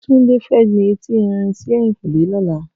Tunde fè gbin éti èrín si èyinkúnlé lòlá